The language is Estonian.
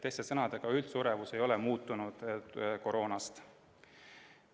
Teiste sõnadega, üldsuremus ei ole koroona tõttu muutunud.